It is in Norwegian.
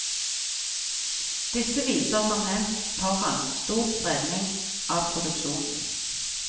Disse viser som nevnt foran stor spredning av produksjonen.